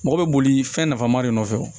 Mɔgɔ bɛ boli fɛn nafama de nɔfɛ o